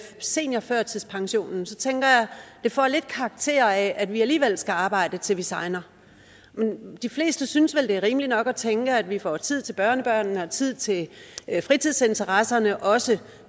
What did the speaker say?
seniorførtidspensionen tænker jeg at det får lidt karakter af at vi alligevel skal arbejde til vi segner de fleste synes vel at det er rimeligt nok at tænke at de får tid til børnebørnene og tid til fritidsinteresserne også